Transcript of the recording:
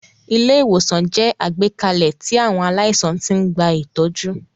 Ilé-ìwòsàn jẹ́ àgbékalẹ̀ tí àwọn aláìsàn ti ń gba ìtọ́jú.